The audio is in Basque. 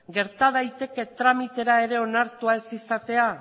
gerta daiteke tramitera ere onartua ez izatea